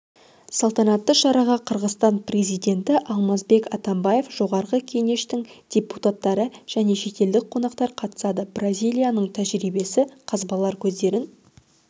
салтанатты шараға қырғызстан президенті алмазбек атамбаев жоғарғы кенештің депутаттары жәнешетелдік қонақтар қатысады бразилияның тәжірибесі қазбалар көздерін